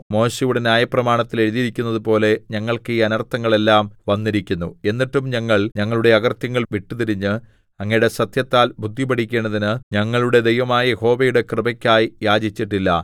മോശെയുടെ ന്യായപ്രമാണത്തിൽ എഴുതിയിരിക്കുന്നതുപോലെ ഞങ്ങൾക്ക് ഈ അനർത്ഥങ്ങൾ എല്ലാം വന്നിരിക്കുന്നു എന്നിട്ടും ഞങ്ങൾ ഞങ്ങളുടെ അകൃത്യങ്ങൾ വിട്ടുതിരിഞ്ഞ് അങ്ങയുടെ സത്യത്താൽ ബുദ്ധിപഠിക്കേണ്ടതിന് ഞങ്ങളുടെ ദൈവമായ യഹോവയുടെ കൃപയ്ക്കായി യാചിച്ചില്ല